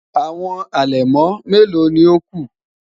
Awọn alẹmọ melo ni o ku?